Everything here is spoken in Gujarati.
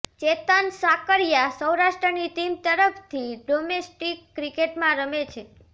ચેતન સાકરિયા સૌરાષ્ટ્રની ટીમ તરફથી ડોમેસ્ટિક ક્રિકેટમાં રમે છે